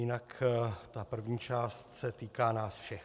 Jinak ta první část se týká nás všech.